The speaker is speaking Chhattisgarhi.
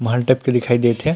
महल टाइप के दिखाई देत हे।